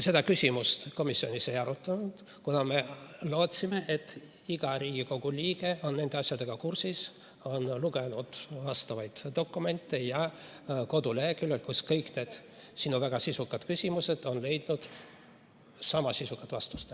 Seda küsimust me komisjonis ei arutanud, kuna me lootsime, et iga Riigikogu liige on nende asjadega kursis, on lugenud vastavaid dokumente koduleheküljelt, kus kõik need väga sisukad küsimused on käsitletud ja neile võib leida sama sisukad vastused.